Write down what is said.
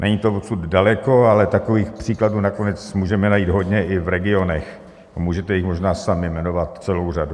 Není to odsud daleko, ale takových příkladů nakonec můžeme najít hodně i v regionech a můžete jich možná sami jmenovat celou řadu.